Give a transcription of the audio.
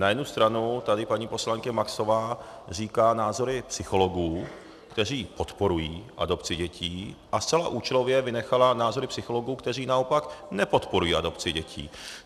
Na jednu stranu tady paní poslankyně Maxová říká názory psychologů, kteří podporují adopci dětí, a zcela účelově vynechala názory psychologů, kteří naopak nepodporují adopci děti.